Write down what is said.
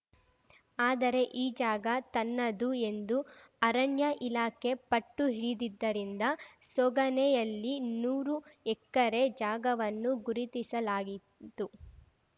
ಆದರೆ ಈ ಜಾಗ ತನ್ನದು ಎಂದು ಅರಣ್ಯ ಇಲಾಖೆ ಪಟ್ಟು ಹಿಡಿದಿದ್ದರಿಂದ ಸೋಗಾನೆಯಲ್ಲಿ ನೂರು ಎಕರೆ ಜಾಗವನ್ನು ಗುರುತಿಸಲಾಗಿತ್ತು